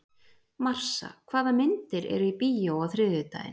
Marsa, hvaða myndir eru í bíó á þriðjudaginn?